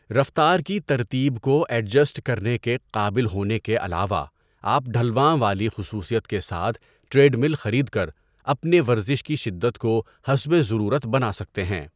رفتار کی ترتیب کو ایڈجسٹ کرنے کے قابل ہونے کے علاوہ، آپ ڈهلوان والی خصوصیت کے ساتھ ٹریڈمل خرید کر اپنے ورزش کی شدت کو حسب ضرورت بنا سکتے ہیں۔